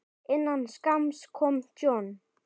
Innan skamms kom John.